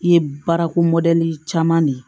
I ye baarako caman ne ye